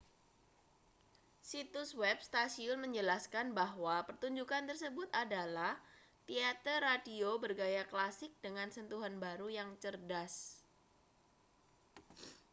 situs web stasiun menjelaskan bahwa pertunjukkan tersebut adalah teater radio bergaya klasik dengan sentuhan baru yang cerdas